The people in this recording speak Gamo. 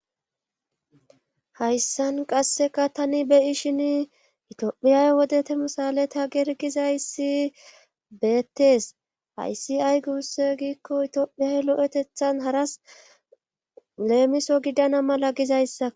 Hayssan qasseka tani beyi shin itophiyay wodetemisaleta gergizayssi beettees hayssi ay guusse giikko itioophiyay lo7etethan haras leemiso gidana mala gizayssa